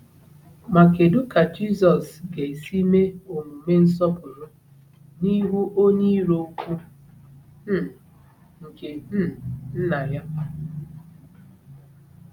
Ma kedu ka Jizọs ga-esi mee omume nsọpụrụ n’ihu onye iro ukwu um nke um Nna ya?